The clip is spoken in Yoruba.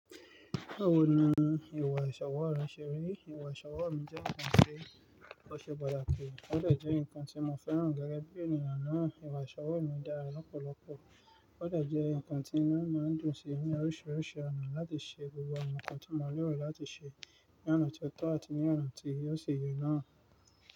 Bẹ́ẹ̀ni, ìwà ìṣọwọ́ rẹ̀ ṣe rí. Ìwà ìṣọwọ́ mi jẹ́ nǹkan tí ó ṣe pataki, ó de jẹ́ nǹkan tí mo fẹ́ràn gẹ́gẹ́ bí ènìyàn náà. Ìwà ìṣọwọ́ mi dára lọ́pọ̀lọpọ̀, ó de jẹ́ nǹkan tí inu mi máa ń dùn sí ní oríṣiríṣi ọ̀nà láti ṣe gbogbo ǹkan tí mo lèrò láti ṣe ní ọ̀nà tió tọ́ àti ní ọ̀nà tí o si ye náà.